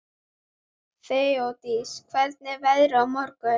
Þeódís, hvernig er veðrið á morgun?